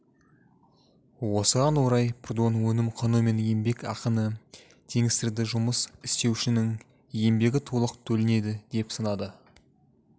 осыған орай прудон өнім құны мен еңбек ақыны теңестірді жұмыс істеушінің еңбегі толық төленеді деп санады